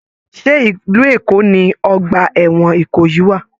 Ṣe ìlú Èkó ní ọgbà ẹwọn Ìkòyí wà?